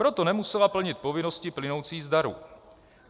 Proto nemusela plnit povinnosti plynoucí z darů.